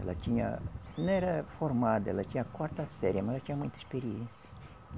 Ela tinha, não era formada, ela tinha quarta série, mas ela tinha muita experiência.